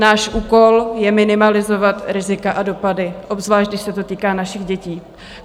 Náš úkol je minimalizovat rizika a dopady, obzvlášť když se to týká našich dětí.